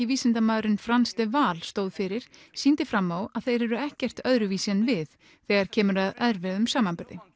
vísindamaðurinn stóð fyrir sýndi fram á að þeir eru ekkert öðruvísi en við þegar kemur að erfiðum samanburði